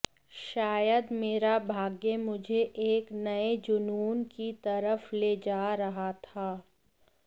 शायद मेरा भाग्य मुझे एक नए जुनून की तरफ ले जा रहा था